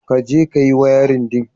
Ka je ka yi wayarin ɗin.